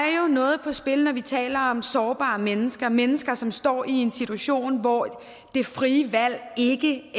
noget på spil når vi taler om sårbare mennesker og mennesker som står i en situation hvor det frie valg ikke